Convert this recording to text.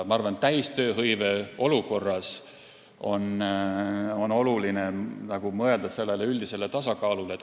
Ma arvan, et täistööhõive olukorras on oluline mõelda üldisele tasakaalule.